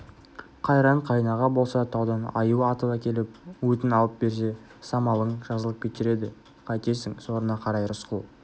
қайран қайынаға болса таудан аю атып әкеліп өтін алып берсе самалың жазылып кетер еді қайтесің сорыңа қарай рысқұл